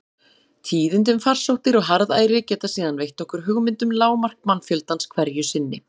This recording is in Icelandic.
Tíðindi um farsóttir og harðæri geta síðan veitt okkur hugmynd um lágmark mannfjöldans hverju sinni.